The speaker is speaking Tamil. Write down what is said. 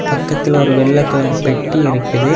பக்கத்துல ஒரு வெள்ள கலர் பெட்டி இருக்குது.